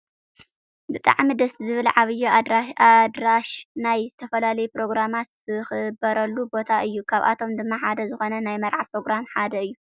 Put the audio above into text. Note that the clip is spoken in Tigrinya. ብጣዕሚ ደስ ዝብል ዓብይ ኣደራሽ ናይ ዝተፈላለዩ ፕሮግራማት ዝክበረሉ ቦታ እዩ። ካብኣቶም ድማ ሓደ ዝኮነ ናይ መርዓ ፕሮግራም ሓደ እዩ ።